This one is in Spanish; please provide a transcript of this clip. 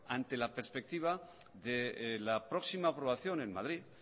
ante la perspectiva de la próxima aprobación en madrid